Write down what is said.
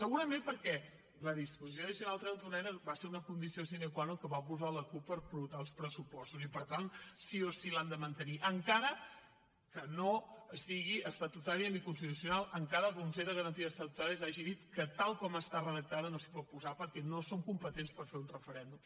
segurament perquè la disposició addicional trenta unena va ser una condició sine qua nonels pressupostos i per tant sí o sí l’han de mantenir encara que no sigui estatutària ni constitucional encara que el consell de garanties estatutàries hagi dit que tal com està redactada no s’hi pot posar perquè no som competents per fer un referèndum